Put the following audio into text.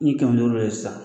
Ni kɛmɛ duuru do ye sisan